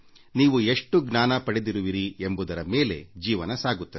ನೀವು ಎಷ್ಟು ಜ್ಞಾನ ಪಡೆದಿರುವಿರಿ ಎಂಬುದರ ಮೇಲೆ ಜೀವನ ಸಾಗುತ್ತದೆ